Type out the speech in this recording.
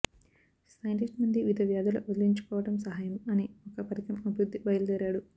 scientist మంది వివిధ వ్యాధుల వదిలించుకోవటం సహాయం అని ఒక పరికరం అభివృద్ధి బయలుదేరాడు